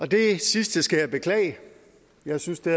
det sidste skal jeg beklage jeg synes det